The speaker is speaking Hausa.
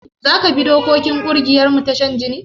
Zaka bi dokokin ƙungiyarmu ta shan jini?